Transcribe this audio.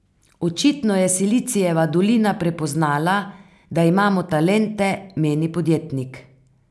Očitno je Silicijeva dolina prepoznala, da imamo talente, meni podjetnik.